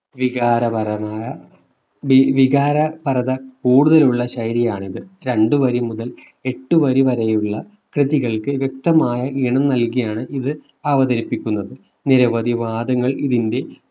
വികാരപരമായ വി വികാരപരത കൂടുതലുള്ള ശൈലിയാണ് ഇത് രണ്ടു വരി മുതൽ എട്ടു വരി വരെയുള്ള കൃതികൾക്ക് വ്യക്തമായ ഈണം നൽകിയാണ് ഇത് അവതരിപ്പിക്കുന്നത് നിരവധി വാദങ്ങൾ ഇതിന്റെ